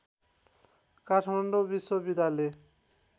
काठमाडौँ विश्वविद्यालय